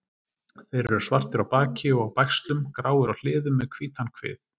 Þeir eru svartir á baki og á bægslum, gráir á hliðum með hvítan kvið.